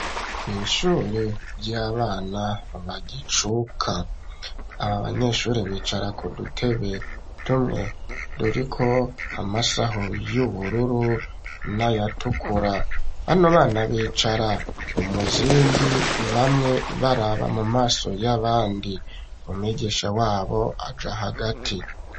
Mu ishure ry'abana bagicuka aba banyeshure bicara ku dutebe tumwe turi ko amasaho y'ubururu nayatukura bano bana bicara umuzingi bamwe baraba mu maso y'abandi umwigisha wabo aja hagati.